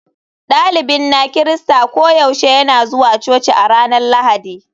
Dalibin na Kirista koyaushe yana zuwa coci a ranar Lahadi.